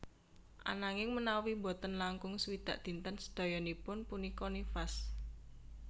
Ananging menawi boten langkung swidak dinten sedhoyonipun punika nifas